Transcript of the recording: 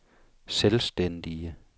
selvstændige